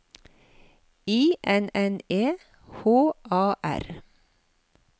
I N N E H A R